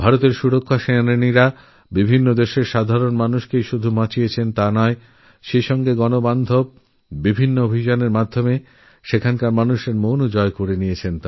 ভারতের প্রতিরক্ষা বাহিনীবিভিন্ন দেশে কেবল সেখানকার মানুষদের রক্ষাই করে নি সেখানে শান্তিরক্ষারপ্রচেষ্টা চালিয়ে তাদের মনও জয় করে নিয়েছে